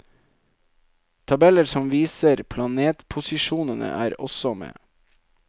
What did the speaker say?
Tabeller som viser planetposisjonene, er også med.